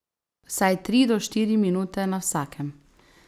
Vsaj tri do štiri minute na vsakem.